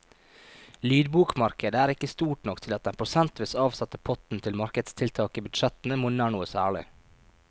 Lydbokmarkedet er ikke stort nok til at den prosentvis avsatte potten til markedstiltak i budsjettene monner noe særlig.